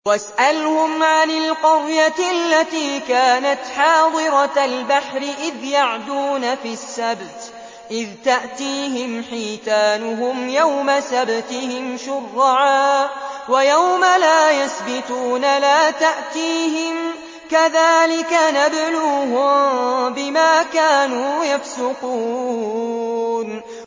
وَاسْأَلْهُمْ عَنِ الْقَرْيَةِ الَّتِي كَانَتْ حَاضِرَةَ الْبَحْرِ إِذْ يَعْدُونَ فِي السَّبْتِ إِذْ تَأْتِيهِمْ حِيتَانُهُمْ يَوْمَ سَبْتِهِمْ شُرَّعًا وَيَوْمَ لَا يَسْبِتُونَ ۙ لَا تَأْتِيهِمْ ۚ كَذَٰلِكَ نَبْلُوهُم بِمَا كَانُوا يَفْسُقُونَ